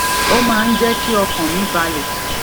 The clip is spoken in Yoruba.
ó máa ń jé kí ọkàn mi balè